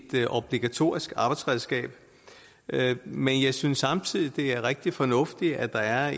obligatorisk arbejdsredskab men jeg synes samtidig at det er rigtig fornuftigt at der er